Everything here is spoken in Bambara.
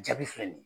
Jaabi filɛ nin ye